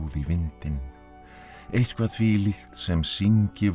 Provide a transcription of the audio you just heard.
vindinn eitthvað þvílíkt sem syngi vor